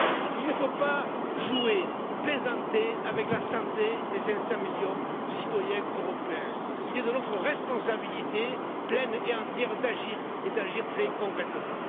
Il ne faut pas jouer, plaisanter, avec la santé des 500 millions de citoyens européens, il est de notre responsabilité pleine et entière d'agir très concrètement.